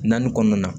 Naani kɔnɔna na